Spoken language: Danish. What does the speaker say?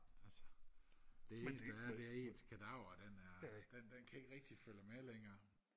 altså det eneste der er det er at ens kadaver den er den kan ikke rigtig følge med længere